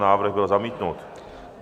Návrh byl zamítnut.